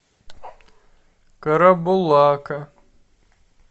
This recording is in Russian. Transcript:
карабулака